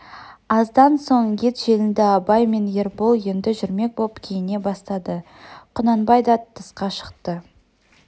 аздан соң ет желінді абай мен ербол енді жүрмек боп киіне бастады құнанбай да тысқа шықты